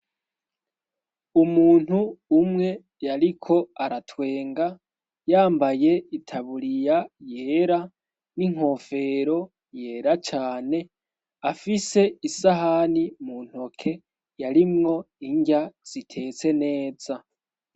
Umuntu umwe yariko aratwenga yambaye itaburiya yera n'inkofero yera cane afise isahani mu ntoke yarimwo indya zitetse neza.